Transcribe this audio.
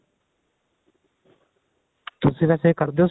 ਤੁਸੀਂ ਵੇਸੇ ਕਰਦੇ ਓ